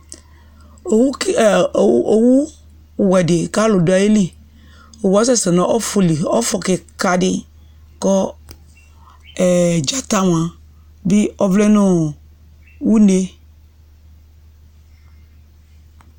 Owu ke ɛ owuwɛ dɩ kʋ alʋ dʋ ayili Owu yɛ asɛsɛ nʋ ɔfʋli Ɔfʋ kɩka dɩ kʋ ɔ ɛ dzanta mʋa dɩ ɔvlɛ nʋ ɔ une